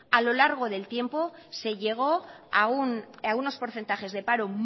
a lo largo del tiempo se llegó a unos porcentajes de paro